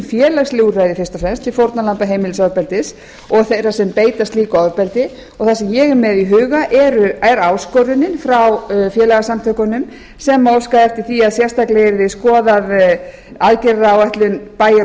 félagsleg úrræði til fórnarlamba heimilisofbeldis og þeirra sem beita slíku ofbeldi það sem ég er með í huga er áskorunin frá félagasamtökunum sem óska eftir því að sérstaklega yrði skoðuð aðgerðaáætlun bæjar og